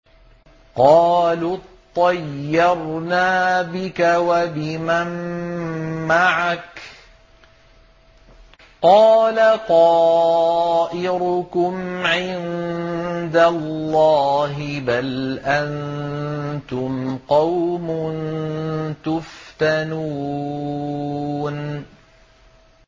قَالُوا اطَّيَّرْنَا بِكَ وَبِمَن مَّعَكَ ۚ قَالَ طَائِرُكُمْ عِندَ اللَّهِ ۖ بَلْ أَنتُمْ قَوْمٌ تُفْتَنُونَ